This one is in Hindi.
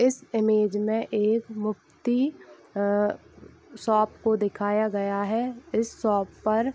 इस इमेज में एक मुफ़्ती अ शॉप को दिखाया गया है इस शॉप पर --